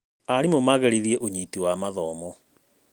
Arimũ no magĩrithie ũnyiti wa mathomo.